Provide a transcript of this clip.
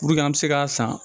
Puruke an bɛ se k'a san